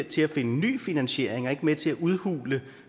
til at finde ny finansiering og ikke med til at udhule